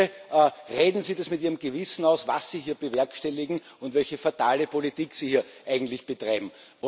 Bitte, machen Sie das mit Ihrem Gewissen aus, was Sie hier bewerkstelligen und welche fatale Politik Sie hier eigentlich betreiben.